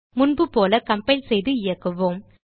முன்புபோல கம்பைல் செய்து இயக்குவோம்